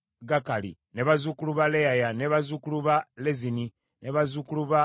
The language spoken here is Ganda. bazzukulu ba Leyaya, bazzukulu ba Lezini, bazzukulu ba Nekoda,